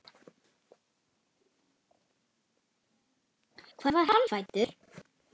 Hvar var hann fæddur?